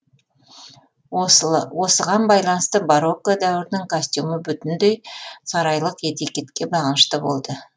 осыған байланысты барокко дәуірінің костюмі бүтіндей сарайлық этикетке бағынышты болды